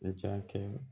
N ja kɛ